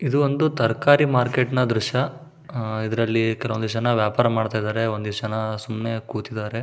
ಇದು ಒಂದು ತರಕಾರಿ ಮಾರ್ಕೆಟ್ ನ ದ್ರಶ್ಯ ಇದರಲ್ಲಿ ಒಂದಿಷ್ಟ್ ಜನ ವ್ಯಾಪಾರ ಮಾಡ್ತಿದಾದರೆ ಒಂದಿಷ್ಟ್ ಜನ ಸುಮ್ನೆ ಕೂತಿದ್ದಾರೆ.